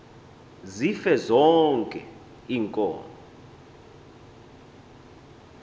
zife zonke iinkomo